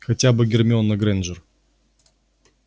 хотя бы гермиона грэйнджер